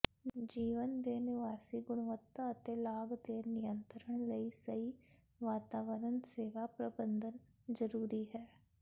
ਜੀਵਨ ਦੇ ਨਿਵਾਸੀ ਗੁਣਵੱਤਾ ਅਤੇ ਲਾਗ ਦੇ ਨਿਯੰਤਰਣ ਲਈ ਸਹੀ ਵਾਤਾਵਰਨ ਸੇਵਾ ਪ੍ਰਬੰਧਨ ਜ਼ਰੂਰੀ ਹੈ